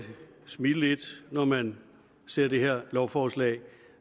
smile lidt når man ser det her lovforslag